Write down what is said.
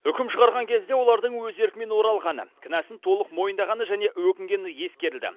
үкім шығарған кезде олардың өз еркімен оралғаны кінәсін толық мойындағаны және өкінгені ескерілді